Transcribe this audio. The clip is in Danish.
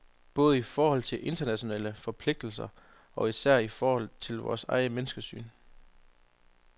Både i forhold til internationale forpligtelser og især i forhold til vores eget menneskesyn.